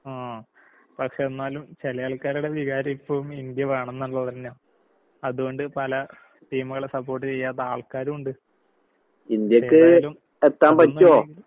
ആഹ് പക്ഷെന്നാലും ചെലയാൾക്കാരടെ വികാരം ഇപ്പവും ഇന്ത്യ വേണന്നിള്ളത്‌ തന്നാ. അതോണ്ട് പല ടീമുകളെ സപ്പോട്ട് ചെയ്യാത്താൾക്കാരുവുണ്ട്. ഏതായാലും അതൊന്നുമല്ലെങ്കിലും